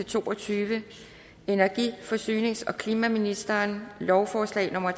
to og tyve energi forsynings og klimaministeren lovforslag nummer